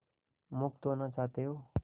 मुक्त होना चाहते हो